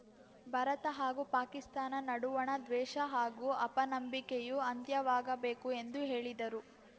ಭಾರತ ಹಾಗೂ ಪಾಕಿಸ್ತಾನ ನಡುವಣ ದ್ವೇಷ ಹಾಗೂ ಅಪನಂಬಿಕೆಯೂ ಅಂತ್ಯವಾಗಬೇಕು ಎಂದು ಹೇಳಿದರು